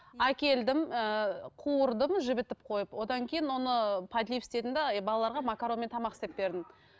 әкелдім ііі қуырдым жібітіп қойып одан кейін оны подлив істедім де і балаларға макаронмен тамақ істеп бердім